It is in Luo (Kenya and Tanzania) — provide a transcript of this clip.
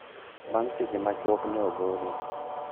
bang seche ma chuok ne ogole